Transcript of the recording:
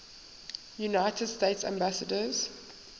united states ambassadors